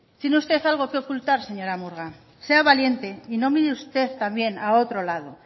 tiene usted algo que ocultar señora murga sea valiente y no mire usted también a otro lado